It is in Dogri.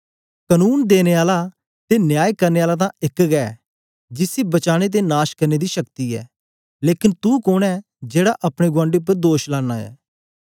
कनून देने आला ते न्याय करने आला तां एक गै ऐ जिसी बचाने ते नाश करने दी शक्ति ऐ लेकन तू कोन ऐ जेड़ा अपने गुआंडी उपर दोष लांना ऐ